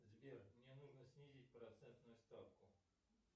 сбер мне нужно снизить процентную ставку